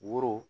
Woro